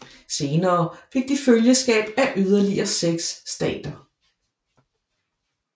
Senere fik de følgeskab af yderligere seks stater